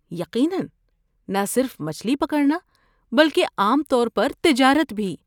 یقیناً! نہ صرف مچھلی پکڑنا بلکہ عام طور پر تجارت بھی۔